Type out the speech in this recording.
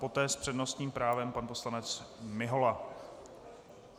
Poté s přednostním právem pan poslanec Mihola.